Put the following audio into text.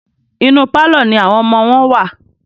Inú pálọ̀ ní àwọn ọmọ wọn wà.